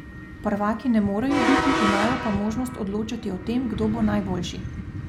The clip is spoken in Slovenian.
Prvaki ne morejo biti, imajo pa možnost odločati o tem, kdo bo najboljši.